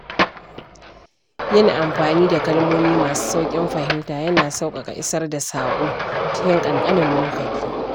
Yin amfani da kalmomi masu sauƙin fahimta yana sauƙaƙa isar da saƙo cikin ƙanƙanin lokaci.